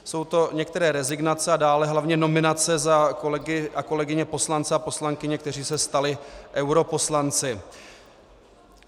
Jsou to některé rezignace a dále hlavně nominace za kolegy a kolegyně poslance a poslankyně, kteří se stali europoslanci.